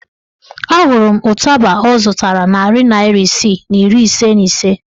A hụrụ m ụtaba ọ zụtara narị naịra isii na iri ise na ise